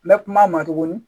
N bɛ kuma a ma tuguni